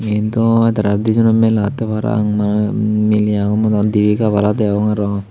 ee do tara dijonor mela ottey parapang miley agon morot dibey gabala degong aro.